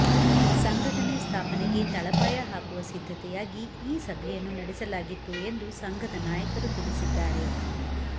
ಸಂಘಟನೆ ಸ್ಥಾಪನೆಗೆ ತಳಪಾಯ ಹಾಕುವ ಸಿದ್ಧತೆಯಾಗಿ ಈ ಸಭೆಯನ್ನು ನಡೆಸಲಾಗಿತ್ತು ಎಂದು ಸಂಘದ ನಾಯಕರು ತಿಳಿಸಿದ್ದಾರೆ